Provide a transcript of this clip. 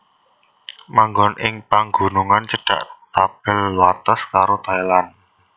Manggon ing pagunungan cedhak tapel wates karo Thailand